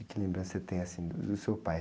E que lembrança você tem do, do seu pai?